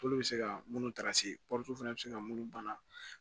Tulu bɛ se ka munnu ta fana bɛ se ka minnu bana